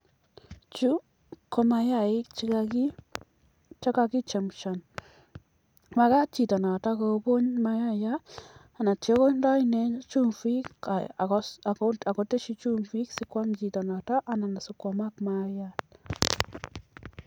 Chu komayaaik che kagichemushan. Magaat chito noto kobony mayaat ak ye ityo konde ine chumbik ak kotesyi chumbik si kwam chito noto anan sikoamak mayaat.